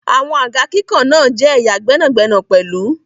Àwọn àga kíkàn náà jẹ́ ẹ̀ya gbẹ́nàgbẹnà pẹ̀lú.